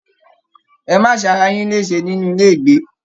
Ẹ ma se ará yin lésè nínú ilé ìgbé!